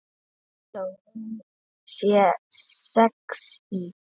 Þó hún sé sexí.